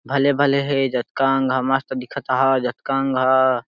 भले -भले है जत कंगह मस्त दिखत है जत कंगह --